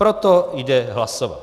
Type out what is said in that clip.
Proto jde hlasovat.